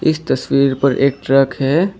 इस तस्वीर पर एक ट्रक है।